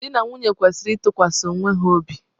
Di na nwunye kwesịrị ịtụkwasị onwe ha obi.